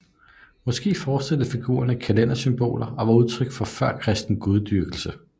Måske forestillede figurerne kalendersymboler og var udtryk for en førkristen gudedyrkelse